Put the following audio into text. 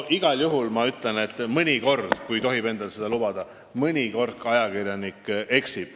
Igal juhul ma ütlen, kui tohib seda endale lubada, et mõnikord ka ajakirjanik eksib.